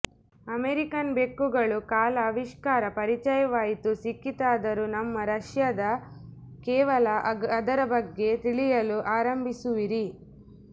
American ಬೆಕ್ಕುಗಳು ಕಾಲ ಆವಿಷ್ಕಾರ ಪರಿಚಯವಾಯಿತು ಸಿಕ್ಕಿತಾದರೂ ನಮ್ಮ ರಷ್ಯಾದ ಕೇವಲ ಅದರ ಬಗ್ಗೆ ತಿಳಿಯಲು ಆರಂಭಿಸುವಿರಿ